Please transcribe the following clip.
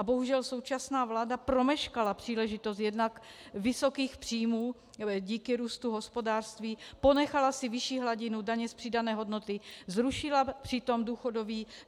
A bohužel současná vláda promeškala příležitost jednak vysokých příjmů díky růstu hospodářství, ponechala si vyšší hladinu daně z přidané hodnoty, zrušila přitom